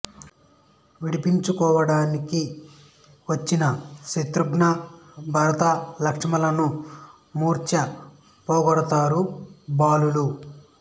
విడిపించుకోవడానికి వచ్చిన శతృఘ్న భరత లక్ష్మణులను మూర్చ పోగొడతారు బాలలు